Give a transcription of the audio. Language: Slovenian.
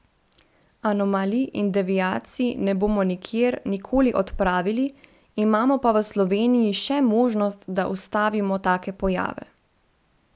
Anomalij in deviacij ne bomo nikjer, nikoli odpravili, imamo pa v Sloveniji še možnost, da ustavimo take pojave.